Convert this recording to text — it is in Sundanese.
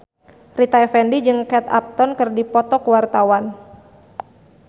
Rita Effendy jeung Kate Upton keur dipoto ku wartawan